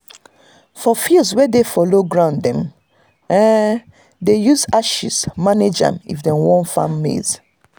for fields wey dey for low ground dem um dey use ashes manage am if dem want farm maize.